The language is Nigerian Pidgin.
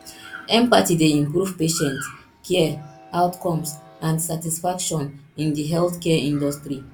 empathy dey improve patient care outcomes and satisfaction in di healthcare industry